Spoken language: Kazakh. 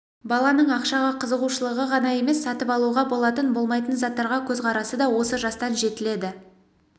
баланың ақшаға қызығушылығы ғана емес сатып алуға болатын болмайтын заттарға көзқарасы да осы жастан жетіледі